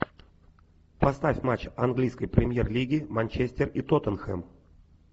поставь матч английской премьер лиги манчестер и тоттенхэм